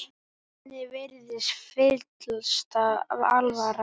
Henni virðist fyllsta alvara.